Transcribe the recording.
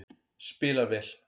Spila vel